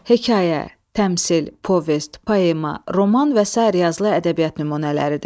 Hekayə, təmsil, povest, poema, roman və sair yazılı ədəbiyyat nümunələridir.